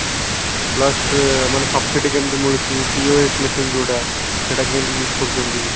plus ମାନେ subside କେମତି ମିଳୁଚି POS machine ଯୋଉଟା ସେଟା କେମିତି use କରୁଚନ୍ତି